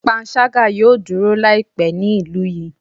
Panṣaga yoo duro laipe ni ilu yi